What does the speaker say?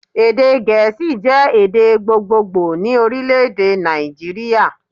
Èdè gèésì jẹ́ èdè gbogbogbò ni Orílèdè Nàìjíríà